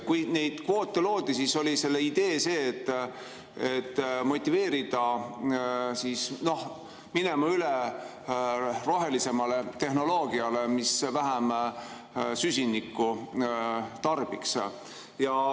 Kui neid kvoote loodi, siis oli selle idee motiveerida üle minema rohelisemale tehnoloogiale, mis vähem süsinikku tarbiks.